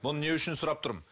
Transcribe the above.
бұны не үшін сұрап тұрмын